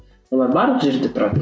олар барлық жерде тұрады